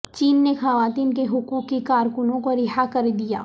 چین نے خواتین کے حقوق کی کارکنوں کو رہا کر دیا